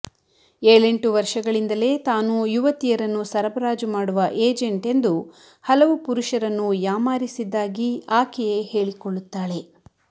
ಏಳೆಂಟು ವರ್ಷಗಳಿಂದಲೇ ತಾನು ಯುವತಿಯರನ್ನು ಸರಬರಾಜು ಮಾಡುವ ಏಜೆಂಟ್ ಎಂದು ಹಲವು ಪುರುಷರನ್ನು ಯಾಮಾರಿಸಿದ್ದಾಗಿ ಆಕೆಯೇ ಹೇಳಿಕೊಳ್ಳುತ್ತಾಳೆ